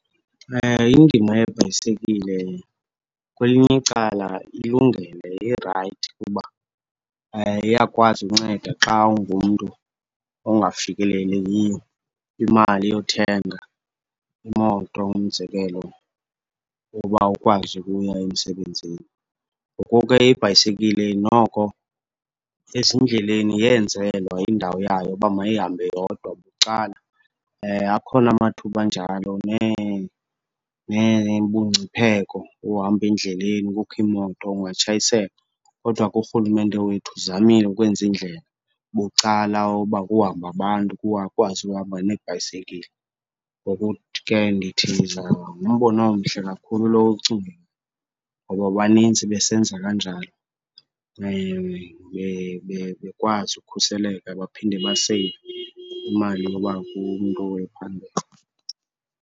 Indima yebhayisekile kwelinye icala ilungele irayithi kuba iyakwazi unceda xa ungumntu ongafikeleliyo kwimali yothenga imoto, umzekelo, yoba ukwazi ukuya emsebenzini. Ngoku ke ibhayisekile noko ezindleleni yenzelwa indawo yayo uba mayihambe yodwa bucala. Akhona amathuba anjalo, nebungcipheko bohamba endleleni kukho iimoto, ungatshayiseka. Kodwa ke urhulumente wethu uzamile ukwenza iindlela bucala yoba kuhambe abantu, kukwazi uhamba neebhayisekile. Ngoku ke ndithi ngumbono omhle kakhulu lo uwucingileyo ngoba banintsi besenza kanjalo, bekwazi ukhuseleka baphinde baseyive imali yoba umntu ephangela.